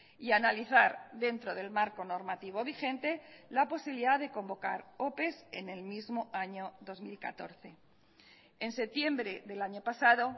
y analizar dentro del marco normativo vigente la posibilidad de convocar ope en el mismo año dos mil catorce en septiembre del año pasado